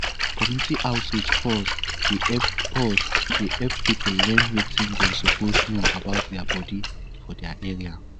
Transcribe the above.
community outreach pause dey help pause dey help people learn wetin dem suppose know about their body for their area